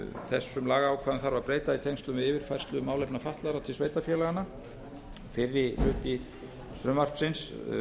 þessum lagaákvæðum þarf að breyta í tengslum við yfirfærslu málefna fatlaðra til sveitarfélaganna fyrri hluti frumvarpsins